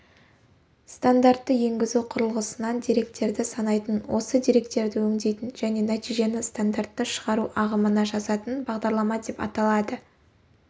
стандартты енгізу құрылғысынан деректерді санайтын осы деректерді өңдейтін және нәтижені стандартты шығару ағымына жазатын бағдарлама деп аталады